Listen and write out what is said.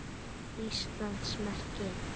Íslands merki.